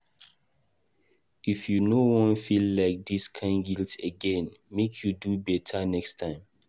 If you no wan feel dis kain guilt again, make you do beta next time.